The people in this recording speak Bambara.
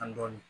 An dɔɔni